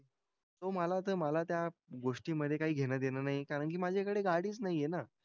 हो मला ते मला त्या गोष्टींमधे काही देणंघेणं नाही. कारण की माझ्याकडे गाडीच नाही आहे ना.